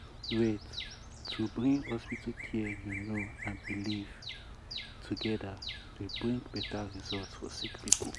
wait- wait- to bring hospital care you know and belief wait- togeda dey bring beta result for sick poeple.